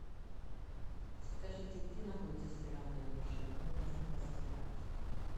скажите где находится стиральная машина мне нужно постирать